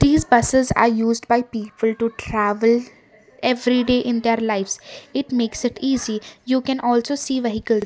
this buses are used by people to travel everyday in their lifes it makes it easy you can also see vehicle.